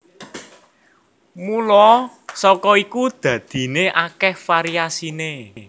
Mula saka iku dadiné akèh variasiné